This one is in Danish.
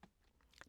DR K